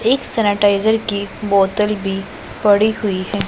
एक सैनिटाइजर की बोतल भी पड़ी हुई है।